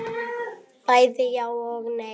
Bæði já og nei.